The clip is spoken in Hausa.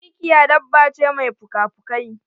Mikiya dabba ce mai puka pukai.